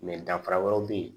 danfara wɛrɛ be yen